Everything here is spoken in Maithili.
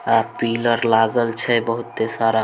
अ पिलर लागल छै बहुत सारा।